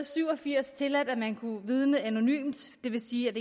syv og firs tilladt at man kunne vidne anonymt det vil sige at